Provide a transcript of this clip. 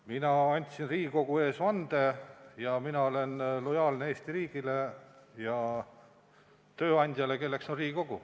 Mina andsin Riigikogu ees vande ja mina olen lojaalne Eesti riigile ja tööandjale, kelleks on Riigikogu.